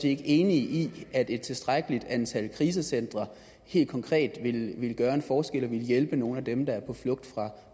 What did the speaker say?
ikke enig i at et tilstrækkeligt antal krisecentre helt konkret ville gøre en forskel og ville hjælpe nogle af dem der er på flugt